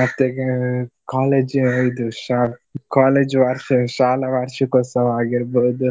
ಮತ್ತೆಗೆ college ಇದು ಶಾ~ college ವಾರ್ಷ~ ಶಾಲಾ ವಾರ್ಷಿಕೋತ್ಸವ ಆಗಿರ್ಬಹುದು.